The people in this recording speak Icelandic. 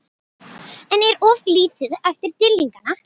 En er of lítið eftir fyrir Dýrlingana?